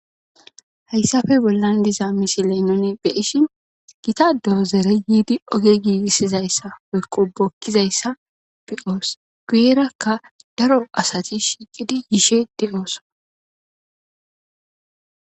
Hayssafe bollan diza misi leenone beyishin gita doo zere yiidi oge giigissizayssa woyqo bokkizayssa beyoos guyerakka daro asati shiiqidi yiishe de'ooso.